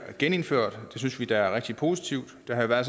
genindført det synes vi er rigtig positivt der er